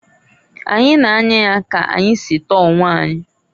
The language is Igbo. Anyi na-anya ya ka anyi si tọọ onwe anyị.